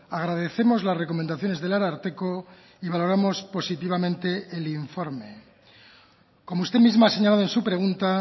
agradecemos las recomendaciones del ararteko y valoramos positivamente el informe como usted misma ha señalado en su pregunta